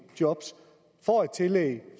job får et tillæg